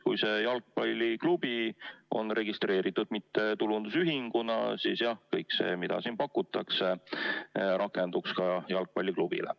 Kui jalgpalliklubi on registreeritud mittetulundusühinguna, siis jah, kõik see, mida siin pakutakse, rakenduks ka jalgpalliklubile.